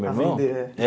Meu irmão? Para vender é.